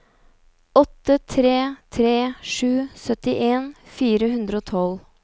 åtte tre tre sju syttien fire hundre og tolv